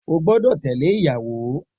O gbọ́dọ̀ tẹ̀lẹ́ ìyàwó